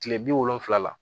Kile bi wolonfila